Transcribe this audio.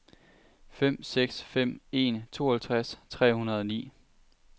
fem seks fem en tooghalvtreds tre hundrede og ni